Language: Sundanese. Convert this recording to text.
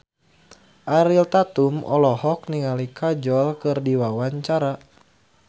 Ariel Tatum olohok ningali Kajol keur diwawancara